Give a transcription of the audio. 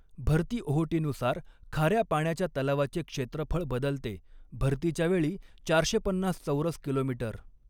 भरती ओहोटीनुसार खाऱ्या पाण्याच्या तलावाचे क्षेत्रफळ बदलते, भरतीच्या वेळी चारशे पन्नास चौरस किलोमीटर